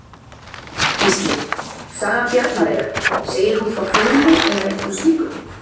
Gísli: Saga Bjarnareyjar, segir hún frá hruni eða einhverju slíku?